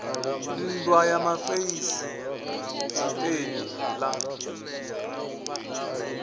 nndwa ya mafeisi dipeni la